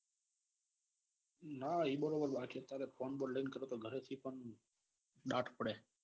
ના એ બરોબર બાકી અત્યારે ફોન બોન લઈએ ગરે થી પણ દાટ પડે.